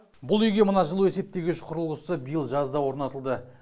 бұл үйге мына жылу есептегіш құрылғысы биыл жазда орнатылды